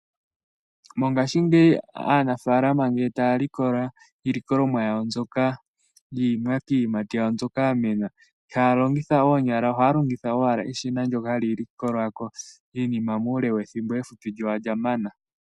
Mongashingeyi aanafaalama ngele taya likola iilikolomwa yawo mbyoka yiiyimati, iiyimati yawo mbyoka yamena . Ihaya longitha oonyala ohaya longitha owala eshina ndyoka hali likolako iinima muule wethimbo efupi lyo olya mana.